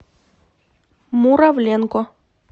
муравленко